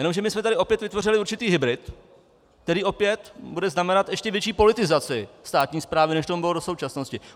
Jenomže my jsme tady opět vytvořili určitý hybrid, který opět bude znamenat ještě větší politizaci státní správy, než tomu bylo do současnosti.